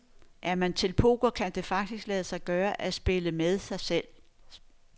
Er man til poker, kan det faktisk lade sig gøre, at spille med sig selv.